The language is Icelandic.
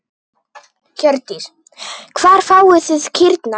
Hjördís: Hvar fáið þið kýrnar?